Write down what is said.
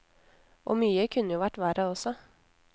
Og mye kunne jo vært verre også.